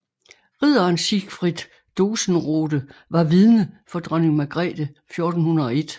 Ridderen Sigfred Dosenrode var vidne for dronning Margrethe 1401